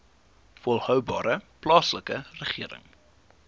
volhoubare plaaslike regering